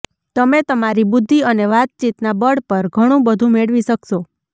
તમે તમારી બુદ્ધિ અને વાતચીતના બળ પર ઘણુંબધું મેળવી શકશો